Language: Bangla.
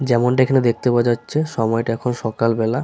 যেমনটা এখানে দেখতে পাওয়া যাচ্ছে সময়টা এখন সকালবেলা।